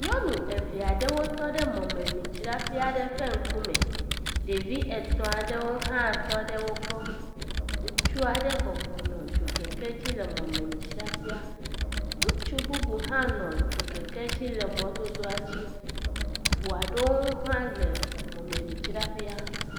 Nyɔnu evea ɖewo tɔ ɖe mɔmemidzraƒea ɖe ƒe ŋkume. Ɖevi etɔ̃a ɖewo hã tɔ ɖe wo gbɔ. Ŋutsua ɖe bɔbɔ nɔ dzokeke dzi le mɔmemidzraƒea. Ŋutsu bubu hã nɔ dzokeke dzi le mɔdodoa dzi. Ŋua ɖewo hã le mɔmemidzraƒea.